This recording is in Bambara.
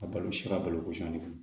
A balo si ka balo kosɛn